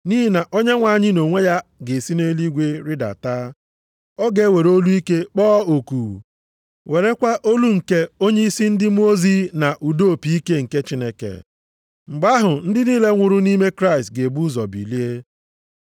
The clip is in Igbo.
Nʼihi na Onyenwe anyị nʼonwe ya ga-esi nʼeluigwe rịdata, ọ ga-ewere olu ike kpọọ oku, werekwa olu nke onyeisi ndị mmụọ ozi na ụda opi ike nke Chineke. Mgbe ahụ ndị niile nwụrụ nʼime Kraịst ga-ebu ụzọ bilie.